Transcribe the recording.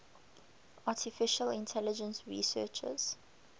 artificial intelligence researchers